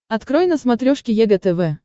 открой на смотрешке егэ тв